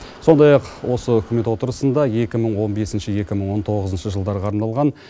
сондай ақ осы үкімет отырысында екі мың он бесінші екі мың он тоғызыншы жылдарға арналған